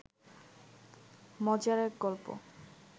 মজার এক গল্প